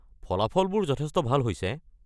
ফলাফলবোৰ যথেষ্ট ভাল হৈছে।